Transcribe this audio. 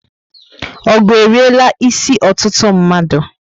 Ogụ eriela isi ọtụtụ mmadu